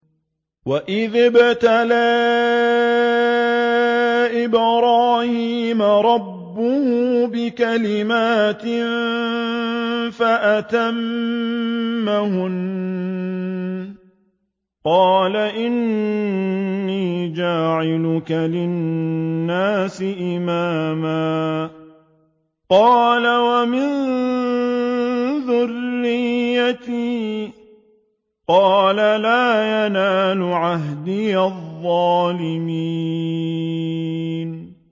۞ وَإِذِ ابْتَلَىٰ إِبْرَاهِيمَ رَبُّهُ بِكَلِمَاتٍ فَأَتَمَّهُنَّ ۖ قَالَ إِنِّي جَاعِلُكَ لِلنَّاسِ إِمَامًا ۖ قَالَ وَمِن ذُرِّيَّتِي ۖ قَالَ لَا يَنَالُ عَهْدِي الظَّالِمِينَ